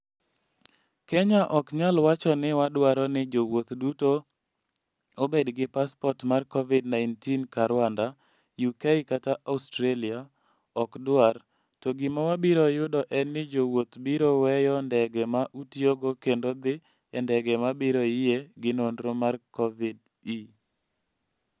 Kenya ok nyal wacho ni wadwaro ni jowuoth duto obed gi passport mar Covid-19 ka Rwanda, UK kata Australia ok dwar, to gima wabiro yudo en ni jowuoth biro weyo ndege ma utiyogo kendo dhi e ndege ma biro yie gi nonro mar Covid-ve. "